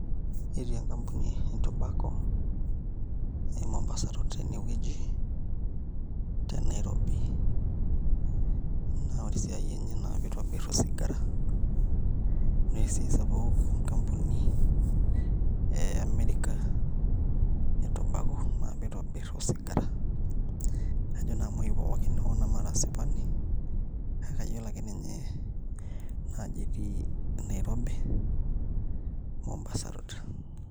Etii enkampuni e Tobacco Mombasa Road tenewueji te Nairobi naa ore esiai enye naa piitobirr osigara ninye esiai sapuk enkampuni e America e Tobacco naa piitobirr osigara ajo naa imuain pookin hoo namara asipani kake ayiolo ake ninye ajo etii Nairobi, Mombasa road.